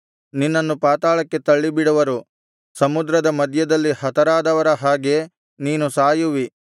ನಿನ್ನನ್ನು ಪಾತಾಳಕ್ಕೆ ತಳ್ಳಿಬಿಡುವರು ಸಮುದ್ರದ ಮಧ್ಯದಲ್ಲಿ ಹತರಾದವರ ಹಾಗೆ ನೀನು ಸಾಯುವಿ